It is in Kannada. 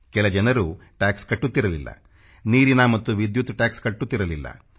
ಕೆಲ ಜನರು ಟ್ಯಾಕ್ಸ ಕಟ್ಟುತ್ತಿರಲಿಲ್ಲ ನೀರಿನ ಮತ್ತು ವಿದ್ಯುತ್ ಟ್ಯಾಕ್ಸ ಕಟ್ಟುತ್ತಿರಲಿಲ್ಲ